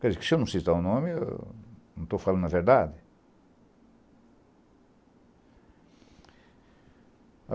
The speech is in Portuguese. Quer dizer, se eu não citar o nome, eu não estou falando a verdade?